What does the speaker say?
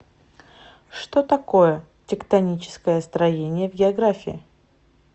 что такое тектоническое строение в географии